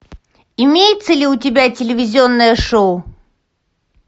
имеется ли у тебя телевизионное шоу